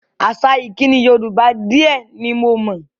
Àṣà ìkíni Yorùbá di ẹ ní mo mọ̀